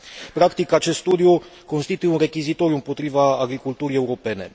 Practic, acest studiu constituie un rechizitoriu împotriva agriculturii europene.